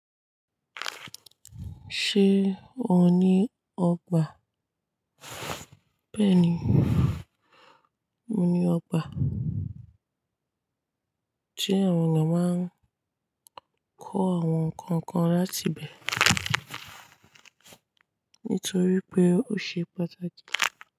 Ṣé o ní ọgbà? Bẹ́ẹ̀ni, mo ní ọgbà se àwọn èeyàn máa ń kó àwọn nǹkan kan láti bẹ̀e nítorí pé ó ṣe pàtàkì.